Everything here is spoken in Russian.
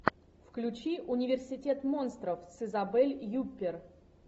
включи университет монстров с изабель юппер